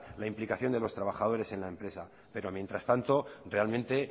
la implicación de los trabajadores en la empresa pero mientras tanto realmente